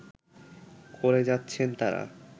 করে যাচ্ছেন তারা